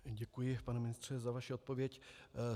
Děkuji, pane ministře, za vaši odpověď.